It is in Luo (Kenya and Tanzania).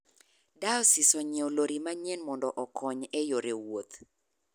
Diosis onyiewo lori manyien mondo okony e yore wuoth